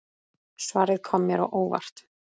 Svarið kom mér á óvart.